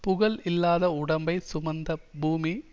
புகழ் இல்லாத உடம்பை சுமந்த பூமி